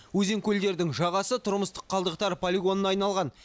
өзен көлдердің жағасы тұрмыстық қалдықтар полигонына айналған